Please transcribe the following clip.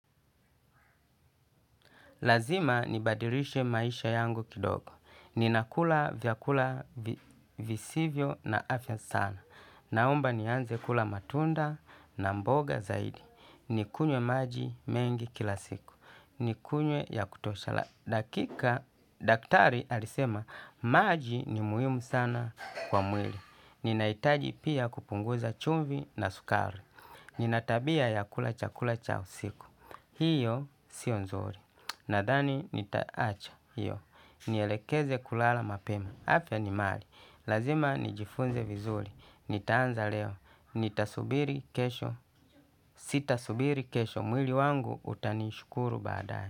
Lazima nibadirishe maisha yangu kidogo. Ninakula vyakula visivyo na afya sana. Naomba nianze kula matunda na mboga zaidi. Nikunywe maji mengi kila siku. Nikunywe ya kutosha dakika daktari alisema maji ni muhimu sana kwa mwili. Ninaitaji pia kupunguza chumvi na sukari. Nina tabia ya kula chakula cha usiku. Hiyo siyo nzuri. Nadhani nitaacha hio nielekeze kulala mapema, afya ni mali, lazima nijifunze vizuri, nitaanza leo, nitasubiri kesho, sitasubiri kesho, mwili wangu utanishukuru badae.